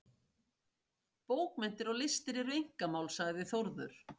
Bókmenntir og listir eru einkamál, sagði Þórður.